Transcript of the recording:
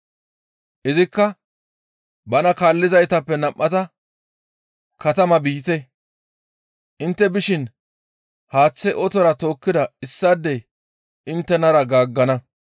Izikka bana kaallizaytappe nam7ata, «Katama biite; intte bishin haaththe otora tookkida issaadey inttenara gaaggana.